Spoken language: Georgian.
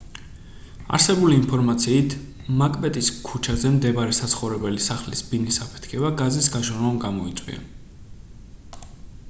არსებული ინფორმაციით მაკბეტის ქუჩაზე მდებარე საცხოვრებელი სახლის ბინის აფეთქება გაზის გაჟონვამ გამოიწვია